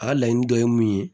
A ka laɲini dɔ ye mun ye